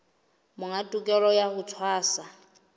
monga tokelo ya ho tshwasa